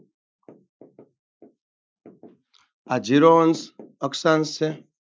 આ zero અંશ અક્ષાંશ છે.